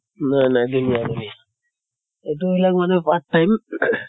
নাই নাই ধুনীয়া ধুনীয়া। এইটো মানে part time?